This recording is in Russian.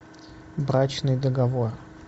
брачный договор